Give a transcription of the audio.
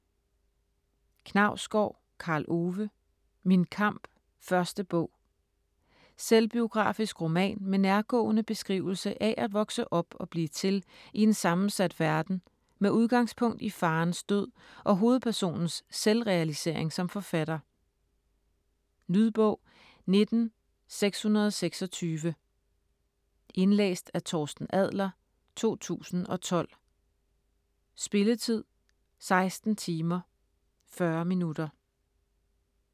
Knausgård, Karl Ove: Min kamp: 1. bog Selvbiografisk roman med nærgående beskrivelse af at vokse op og blive til i en sammensat verden med udgangspunkt i faderens død og hovedpersonens selvrealisering som forfatter. Lydbog 19626 Indlæst af Torsten Adler, 2010. Spilletid: 16 timer, 40 minutter.